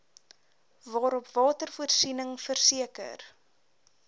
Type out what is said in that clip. waarop watervoorsiening verseker